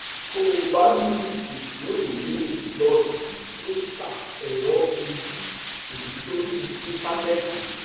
tó o bá ní ìjíròrò míì lọ sí dókítà ẹrọ ojú ẹyin lórí íńtánéètì